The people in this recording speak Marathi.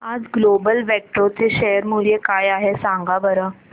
आज ग्लोबल वेक्ट्रा चे शेअर मूल्य काय आहे सांगा बरं